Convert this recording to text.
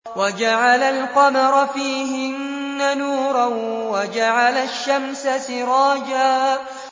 وَجَعَلَ الْقَمَرَ فِيهِنَّ نُورًا وَجَعَلَ الشَّمْسَ سِرَاجًا